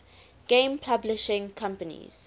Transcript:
game publishing companies